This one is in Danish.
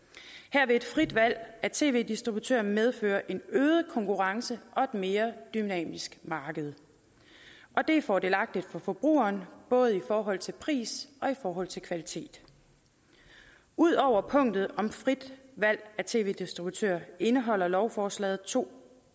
her vil et frit valg af tv distributør medføre en øget konkurrence og et mere dynamisk marked og det er fordelagtigt for forbrugeren både i forhold til pris og i forhold til kvalitet ud over punktet om frit valg af tv distributør indeholder lovforslaget to